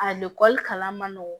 A kalan man nɔgɔn